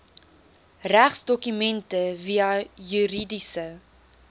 regsdokumente via juridiese